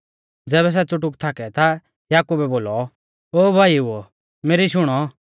ज़ैबै सै च़ुटुक थाकै ता याकुबै बोलौ ओ भाईओ मेरी शुणौ